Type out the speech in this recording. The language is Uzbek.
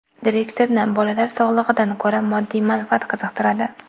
Direktorni bolalar sog‘lig‘idan ko‘ra moddiy manfaat qiziqtiradi.